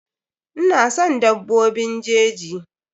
Ina son dabbobin jeji.